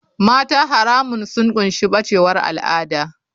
Mata haramun sun ƙunshi bacewar al'ada.